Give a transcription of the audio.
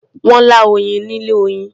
Wọ́n lá oyin ni ilé-oyin.